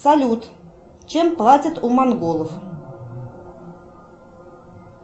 салют чем платят у монголов